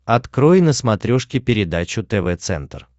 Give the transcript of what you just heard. открой на смотрешке передачу тв центр